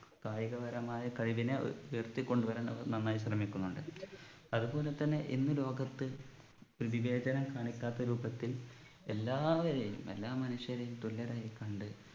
കായികപരമായ കഴിവിനെ ഉ ഉയർത്തിക്കൊണ്ടു വരാൻ അവർ നന്നായി ശ്രമിക്കുന്നുണ്ട് അതുപോലെ തന്നെ ഇന്ന് ലോകത്ത് ഏർ വിവേചനം കാണിക്കാത്ത രൂപത്തിൽ എല്ലാവരെയും എല്ലാ മനുഷ്യരെയും തുല്യരായി കണ്ട്